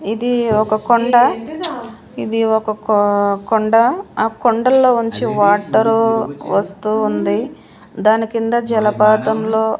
ఇది ఒక కొండ ఇది ఒక కో కొండ ఆ కొండల్లో ఉంచి వాటరు వస్తూ ఉంది దాని కింద జలపాతంలో--